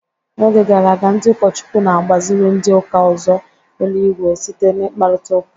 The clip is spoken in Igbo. N'oge gara aga, ndị ụkọchukwu na-agbaziri ndị ụka ụzọ eluigwe site n'mkparitaUka.